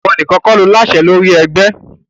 Ìwọ nìkan kò láṣẹ lórí ẹgbẹ́!